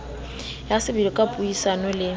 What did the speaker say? ya sebele ka puisano le